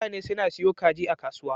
Mutane suna siyo kaji a kasuwa.